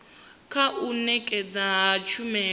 kha u nekedzwa ha tshumelo